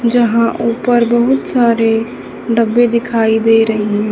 जहां ऊपर बहुत सारे डब्बे दिखाई दे रहीं--।